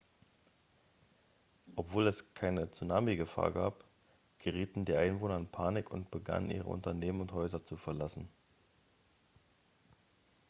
obwohl es keine tsunami-gefahr gab gerieten die einwohner in panik und begannen ihre unternehmen und häuser zu verlassen